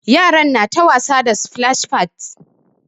Yaran na ta wasa da splash pads.